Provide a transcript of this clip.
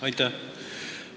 Aitäh!